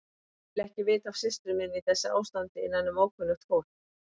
Ég vil ekki vita af systur minni í þessu ástandi innanum ókunnugt fólk.